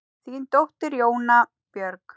Þín dóttir, Jóna Björg.